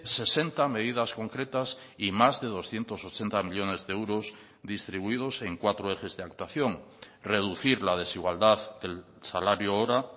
sesenta medidas concretas y más de doscientos ochenta millónes de euros distribuidos en cuatro ejes de actuación reducir la desigualdad del salario hora